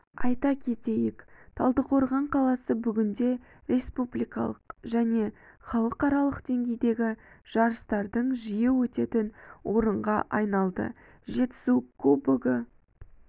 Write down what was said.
айта кетейік талдықорған қаласы бүгінде республикалық және халықаралық деңгейдегі жарыстардың жиі өтетін орынға айналды жетісу кубогі